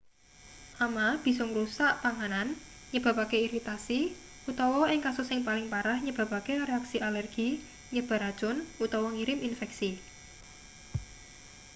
ama bisa ngrusak panganan nyebabake iritasi utawa ing kasus sing paling parah nyebabake reaksi alergi nyebar racun utawa ngirim infeksi